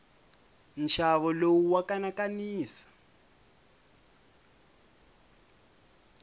nxavo lowu wa kanakanisa